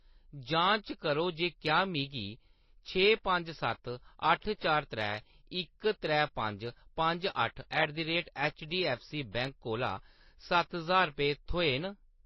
जांच करो जे क्या मिगी छे पंज सत्त अट्ठ चार त्रै इक त्रै पंज पंज अट्ठ at the rate H D F C bank कोला सत्त ज्हार रपेऽ थ्होए न।